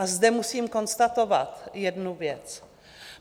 A zde musím konstatovat jednu věc.